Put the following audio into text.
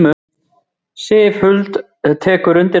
Sif Huld tekur undir það.